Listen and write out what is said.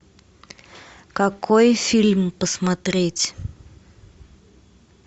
какой фильм посмотреть